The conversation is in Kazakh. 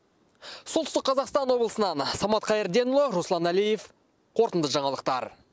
солтүстік қазақстан облысынан самат қайырденұлы руслан әлиев қорытынды жаңалықтар